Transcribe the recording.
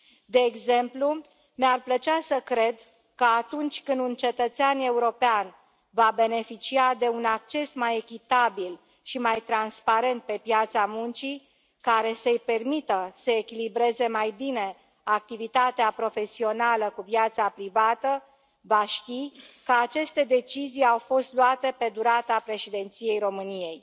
De exemplu, mi ar plăcea să cred, că atunci când un cetățean european va beneficia de un acces mai echitabil și mai transparent pe piața muncii, care să i permită să echilibreze mai bine activitatea profesională cu viața privată, va știi că aceste decizii au fost luate pe durata președinției României.